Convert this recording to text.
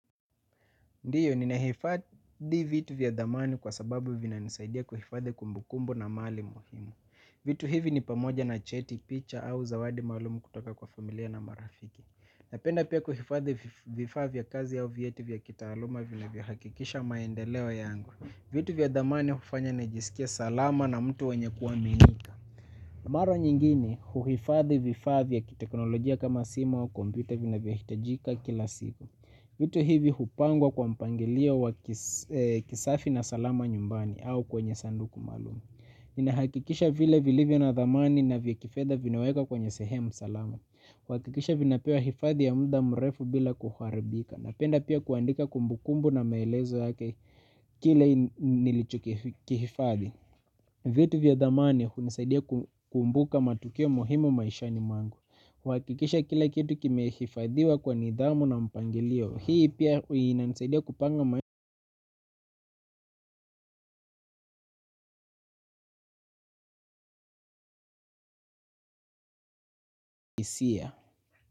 Ndiyo, ninehifadhi vitu vya damani kwa sababu vinanisaidia kuhifadhi kumbukumbu na mali. Vitu hivi ni pamoja na cheti, picha au zawadi malumu kutoka kwa familia na marafiki. Napenda pia kuhifadhi vifaa vya kazi au vieti vya kitaaluma vilovyo hakikisha maendeleo yangu. Vitu vya damani hufanya nijisikie salama na mtu wenye kuwaminika. Mara nyingine, huhifadhi vifaa ya kiteknolojia kama simu wa komputa vinavyo hitajika kila siku. Vitu hivi hupangwa kwa mpangilio wa kisafi na salama nyumbani au kwenye sanduku malum. Inahakikisha vile vilivyo na dhamani na vya kifeda vinaweka kwenye sehemu salama. Kuhakikisha vinapewa hifadhi ya muda mrefu bila kuharibika napenda pia kuandika kumbukumbu na maelezo yake kile nilichokihifadhi. Vitu vya dhamani unisaidia kukumbuka matokeo muhimu maishani mwangu. Wakikisha kila kitu kimehifadhiwa kwa nidhamu na mpangilio. Hii pia uinisadia kupanga maihisia.